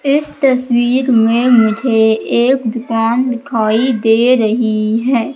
इस तस्वीर में मुझे एक दुकान दिखाई दे रही है।